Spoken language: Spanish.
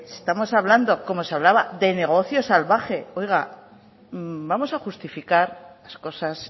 estamos hablando como se hablaba de negocio salvaje oiga vamos a justificar las cosas